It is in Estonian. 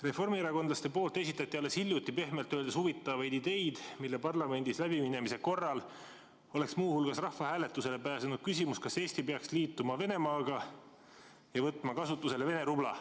Reformierakondlased esitasid alles hiljuti pehmelt öeldes huvitavaid ideid, mille parlamendis läbiminemise korral oleks muu hulgas rahvahääletusele pääsenud küsimus, kas Eesti peaks liituma Venemaaga ja võtma kasutusele Vene rubla.